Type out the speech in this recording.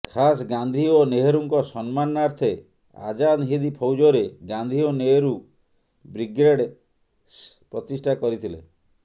ଖାସ୍ ଗାନ୍ଧି ଓ ନେହେରୁଙ୍କ ସମ୍ମାନାର୍ଥେ ଆଜାଦ୍ ହିନ୍ଦ୍ ଫୌଜରେ ଗାନ୍ଧି ଓ ନେହେରୁ ବ୍ରିଗେଡ୍ସ ପ୍ରତିଷ୍ଠା କରିଥିଲେ